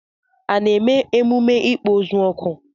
A na-eme emume ikpo ozu oku?